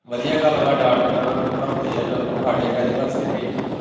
ਵਧੀਆਂ ਗੱਲ ਵਾਂ ਡਾਟ ਕੇ ਉਹਨਾਂ ਨੂੰ ਪੜਾਉਂਦੇ ਐਂ ਚੱਲ ਸਾਡੇ ਫੈਦੇ ਵਾਸਤੇ ਡੇ।